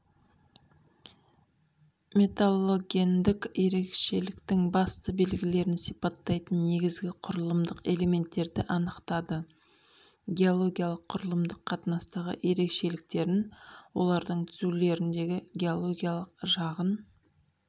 металлогендік ерекшеліктің басты белгілерін сипаттайтын негізгі құрылымдық элементтерді анықтады геологиялық құрылымдық қатынастағы ерекшеліктерін олардың түзілулеріндегі геологиялық жағын